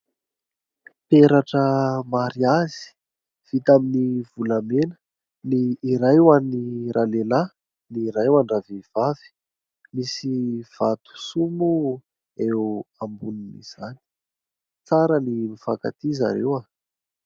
Peratra mariazy vita amin'ny volamena ny iray ho any ra lehilahy ny iray ho an-dravehivavy misy vato soa moa eo ambonin'izany. Tsara ny mifankatia zareo.